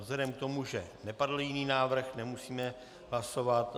Vzhledem k tomu, že nepadl jiný návrh, nemusíme hlasovat.